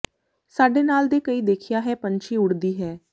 ਸਾਡੇ ਨਾਲ ਦੇ ਕਈ ਦੇਖਿਆ ਹੈ ਪੰਛੀ ਉੱਡਦੀ ਹੈ